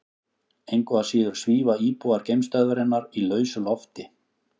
Engu að síður svífa íbúar geimstöðvarinnar í lausu lofti.